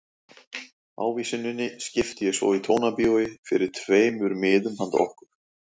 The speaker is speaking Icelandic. Ávísuninni skipti ég svo í Tónabíói fyrir tveimur miðum handa okkur.